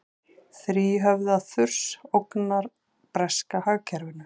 Þríhöfða þurs ógnar breska hagkerfinu